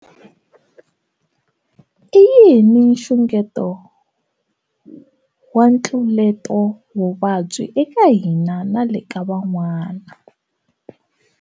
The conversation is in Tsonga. I yini nxungeto wa ntluletovuvabyi eka hina na le ka van'wana?